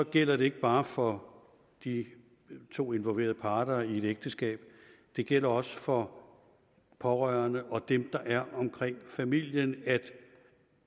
gælder det ikke bare for de to involverede parter i et ægteskab det gælder også for pårørende og dem der er omkring familien at